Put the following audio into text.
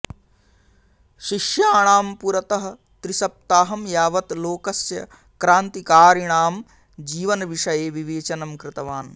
शिष्याणां पुरतः त्रिसप्ताहं यावत् लोकस्य क्रान्तिकारिणां जीवनविषये विवेचनं कृतवान्